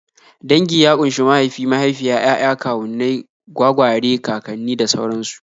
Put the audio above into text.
Dangi ya ƙunshi mahaifi, mahaifiya, 'ya'ya, kawunnai, gwagware, kakanni, da sauransu